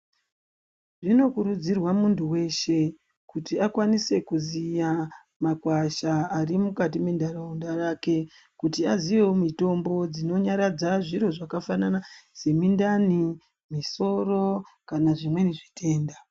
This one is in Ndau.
Zvinokurudzirwa muntu weshe kuti akwanise kuziya makwasha ari mukati mendaraunda yake kuti aziyewo mitombo dzinonyaradza zviro zvakafanana nemundane musoro kani nezvimwe zvitenda .